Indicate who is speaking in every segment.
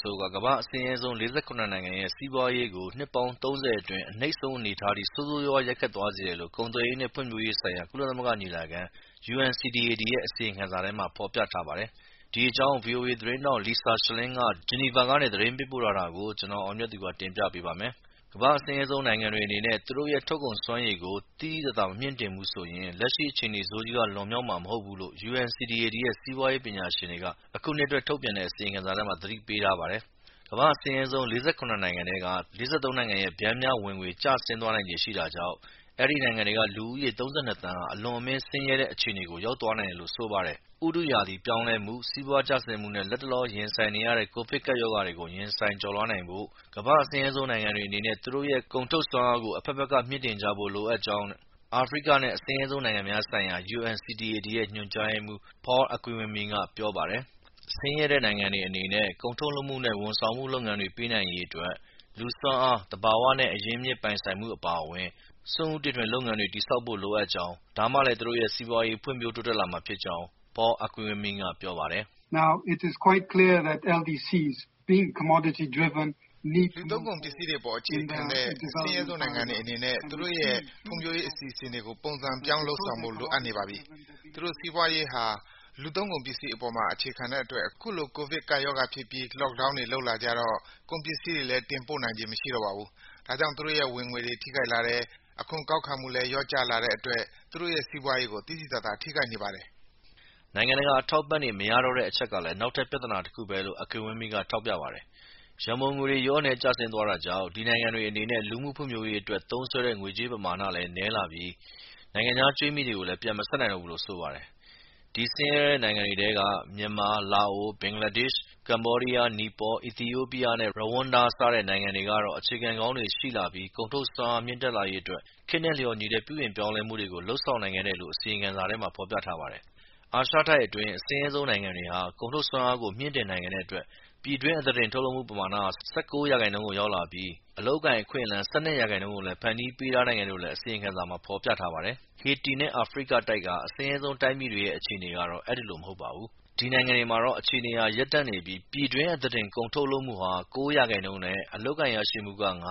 Speaker 1: ဆိုးက ကမ္ဘာ့ အဆင်းရဲဆုံး ၄၇ နိုင်ငံရဲ့ စီးပွားရေးကို နှစ်ပေါင်း (၃၀) အတွင်း အနိမ့်ဆုံးအနေအထားထိ ဆိုးဆိုးရွားရွား ရိုက်ခတ်သွားစေတယ်လို့ ကုန်သွယ်ရေးနဲ့ဖွံ့ဖြိုးရေးဆိုင်ရာ ကုလသမဂ္ဂညီလာခံ UNCTAD ရဲ့ အစီရင်ခံစာထဲမှာ ဖေါ်ပြထားပါတယ်။ ဒီအကြောင်း ဗွီအိုအေ သတင်းထောက် Lisa Schlein ဂျီနီဗာကနေ သတင်းပေးပို့ထားတာကို ကိုအောင်မြတ်သူက တင်ပြပေးပါမယ်။ ကမ္ဘာ့အဆင်းရဲဆုံးနိုင်ငံတွေအနေနဲ့ သူတို့ရဲ့ကုန်ထုတ်စွမ်းရည်ကို သိသိသာသာ မမြှင့်တင်ဘူးဆိုရင် လက်ရှိ အခြေအနေ ဆိုးကြီးကနေ လွန်မြောက်မှာမဟုတ်ဘူးလို့UNCTAD ရဲ့ စီးပွားရေးပညာရှင်တွေက အခုနှစ်အတွက် ထုတ်ပြန်တဲ့ အစီရင်ခံစာထဲမှာ သတိပေးထားပါတယ်။ ကမ္ဘာ့အဆင်းရဲဆုံး ၄၇ နိုင်ငံထဲက ၄၃ နိုင်ငံရဲ့ ပျမ်းမျှဝင်ငွေ ကျဆင်းသွားနိုင်ခြေရှိတာကြောင့် အဲဒီနိုင်ငံတွေက လူဦးရေ ၃၂ သန်းဟာ အလွန်အမင်း ဆင်းရဲတဲ့အခြေအနေကို ရောက်သွားနိုင်တယ်လို့ ဆိုပါတယ်။ ဥတုရာသီပြောင်းလဲမှု၊ စီးပွားကျဆင်းမှုနဲ့ လတ်တလော ရင်ဆိုင်နေရဲ့ ကိုဗစ်ကပ်ရောဂါတွေကို ရင်ဆိုင်ကျော်လွှားနိုင်ဖို့ ကမ္ဘာ့ အဆင်းရဲဆုံးနိုင်ငံတွေအနေနဲ့ သူတို့ရဲ့ ကုန်ထုတ်စွမ်းအားကို အဘက်ဘက်က မြှင့်တင်ကြဖို့ လိုအပ်ကြောင်း အာဖရိကနဲ့ အဆင်းရဲဆုံး နိုင်ငံများဆိုင်ရာ UNCTAD ရဲ့ ညွန်ကြားရေးမှူး Paul Akiwumi က ပြောပါတယ်။ ဆင်းရဲတဲ့နိုင်ငံတွေအနေနဲ့ ကုန်ထုတ်လုပ်မှုနဲ့ ဝန်ဆောင်မှုလုပ်ငန်းတွေ ပေးနိုင်ရေးအတွက် လူစွမ်းအား၊ သဘာဝနဲ့ အရင်းအမြစ်ပိုင်ဆိုင်မှု အပါအဝင် စွန့်ဦးတီထွင် စီးပွားလုပ်ငန်းရှင်တွေ တည်ဆောက်ဖို့ လိုအပ်ကြောင်း၊ ဒါမှလည်း သူတို့ရဲ့ စီးပွားရေး ဖွံ့ဖြိုးတိုးတက်လာမှာ ဖြစ်ကြောင်း Paul Akiwumi က ပြောပါတယ်။ “
Speaker 2: လူသု
Speaker 1: ံးကုန်ပစ္စည်းတွေအပေါ် အခြေခံနေတဲ့ အဆင်းရဲဆုံးနိုင်ငံတွေအနေနဲ
Speaker 2: ့ သူတို့ရဲ့ ဖွံ့ဖြိုးရေးအစီအစဉ်တွေကို ပုံစံပြောင်း လုပ်ဆောင်ဖို့ လိုအပ်နေပါပြီ။ သူတို့စီးပွားရေးဟာ လူသုံးကုန်ပစ္စည်းအပေါ်မှာ အခြေခံနေတဲ့အတွက် အခုလို ကိုဗစ် ကပ်ရောဂါဖြစ်ပြီး Loackdown တွေ လုပ်လာကြတော့ ကုန်ပစ္စည်းတွေလည်း တင်ပို့နိုင်ခြင်း မရှိတော့ပါဘူး။ ဒါကြောင့် သူတို့ရဲ့ ဝင်ငွေတွေ ထိခိုက်လာတယ်၊ အခွန်ကောက်ခံမှုလည်း လျော့ကျလာတဲ့အတွက် သူတို့ရဲ့ စီးပွားရေးကို သိသိသာသာ ထိခိုက်နေပါတယ်။
Speaker 1: ” နိုင်ငံတကာ အထောက်အပံ့တွေ မရတော့တဲ့အချက်ဟာလည်း နောက်ထပ် ပြသနာတခုပဲလို့ Akiwumi က ထောက်ပြပါတယ်။ရန်ပုံငွေတွေ လျော့နည်းကျဆင်းသွားတာကြောင့် ဒီနိုင်ငံတွေအနေနဲ့ လူမှုဖွံ့ဖြိုးရေးအတွက် သုံးစွဲနိုင်တဲ့ငွေကြေးပမာဏဟာလည်း နည်းလာပြီး နိုင်ငံခြားကြွေးမြီတွေကိုလည်း ပြန်မဆပ်နိုင်တော့ဘူးလို့ဆိုပါတယ်။ ဒီ အဆင်းရဲဆုံးနိုင်ငံတွေထဲက မြန်မာ၊ လာအို၊ ဘင်္ဂလားဒေ့ရှ်၊ ကမ္ဘောဒီးယား၊ နီပေါ၊ အီသီယိုးပီးယားနဲ့ ရဝမ်ဒါ စတဲ့ (၈) နိုင်ငံကတော့ စီးပွားရေးအခြေခံကောင်းတွေ ရှိလာပြီး ကုန်ထုတ်စွမ်းအား မြင့်တက်လာရေးအတွက် ခေတ်နဲ့လျှော်ညီတဲ့ ပြုပြင်ပြောင်းလဲမှုတွေကို လုပ်ဆောင်နိုင်ခဲ့တယ်လို့ အစီရင်ခံစာမှာ ဖော်ပြထားပါတယ်။ အာရှတိုက်အတွင်းက အဆင်းရဲဆုံးနိုင်ငံတွေဟာ ကုန်ထုတ်စွမ်းအားကို မြင့်တင်နိုင်ခဲ့တဲ့အတွက် ပြည်တွင်းအသားတင် ကုန်ထုတ်လုပ်မှုဟာ ၁၉% ကိုရောက်လာပြီး အလုပ်အကိုင်အခွင့်အလမ်း ၁၂% ကို ဖန်တီးပေးနိုင်ခဲ့တယ်လို့လည်း အစီရင်ခံစာမှာ ဖော်ပြထားပါတယ်။ ဟေတီနဲ့ အာဖရိကတိုက်က အဆင်းရဲဆုံးတိုင်းပြည်တွေက အခြေအနေကတော့ အဲဒီလို မဟုတ်ပါဘူး။ ဒီနိုင်ငံတွေမှာတော့ အခြေအနေတွေဟာ ရပ်တန့်နေပြီး ပြည်တွင်းအသားတင် ကုန်ထုတ်လုပ်မှုဟာ ၉% နဲ့ အလုပ်အကိုင် ရရှိမှုက ၅%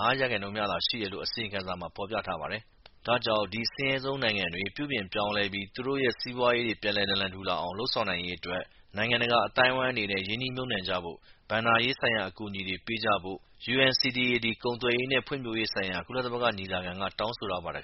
Speaker 1: မှာသာ ရှိတယ်လို့ အစီရင်ခံမှာ ဖော်ပြထားပါတယ်။ ဒါကြောင့် ဒီ အဆင်းရဲဆုံးနိုင်ငံတွေ ပြုပြင်ပြောင်းလဲပြီး သူတို့စီးပွားရေးတွေ ပြန်နာလန်ထူလာအောင် လုပ်ဆောင်ရေးအတွက် နိုင်ငံတကာ အသိုင်းဝိုင်းအနေနဲ့ ရင်းနှီးမြုပ်နှံကြဖို့၊ ဘဏ္ဍာရေးဆိုင်ရာ အကူအညီတွေ ပေးကြဖို့ UNCTAD ကုန်သွယ်ရေးနဲ့ဖွံ့ဖြိုူးရေးဆိုင်ရာ ကုလသမဂ္ဂညီလာခံက တောင်းဆိုထားပါတယ်